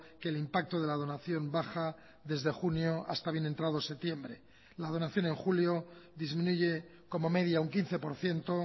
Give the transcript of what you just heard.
que el impacto de la donación baja desde junio hasta bien entrado septiembre la donación en julio disminuye como media un quince por ciento